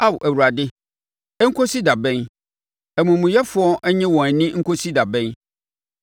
Ao Awurade, ɛnkɔsi da bɛn, amumuyɛfoɔ nnye wɔn ani nkɔsi da bɛn?